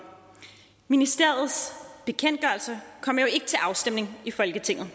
ministeriets bekendtgørelser kommer jo ikke til afstemning i folketinget